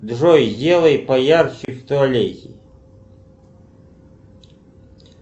джой сделай поярче в туалете